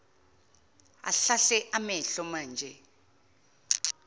ahlahle amehlo manje